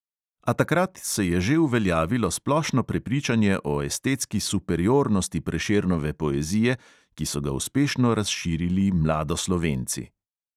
A takrat se je že uveljavilo splošno prepričanje o estetski superiornosti prešernove poezije, ki so ga uspešno razširili mladoslovenci.